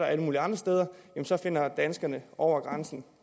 alle mulige andre steder så finder danskerne over grænsen